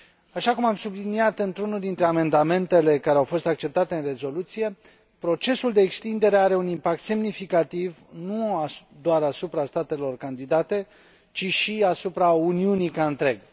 Așa cum am subliniat într unul dintre amendamentele care au fost acceptate în rezoluție, procesul de extindere are un impact semnificativ nu doar asupra statelor candidate, ci și asupra Uniunii ca întreg.